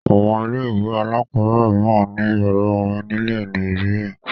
Àwọn ilé-ìwé alákọ̀ọ́bẹ̀rẹ̀ mìíràn ní ìyàrá-orin nílẹ̀ Nàìjíríà.